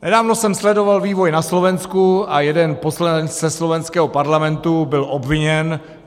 Nedávno jsem sledoval vývoj na Slovensku a jeden poslanec ze slovenského parlamentu byl obviněn.